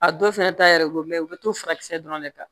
A dɔw fɛnɛ ta yɛrɛ ko u be to farakisɛ dɔrɔn de kan